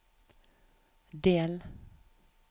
del